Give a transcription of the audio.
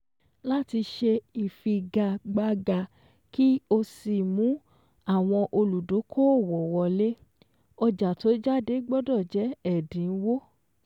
Láti ṣe ìfigagbága kí ó sì mú àwọn olùdókòòwò wọlé, ọjà tó jáde gbọ́dọ̀ jẹ́ ẹ̀dínwó